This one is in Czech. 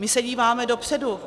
My se díváme dopředu.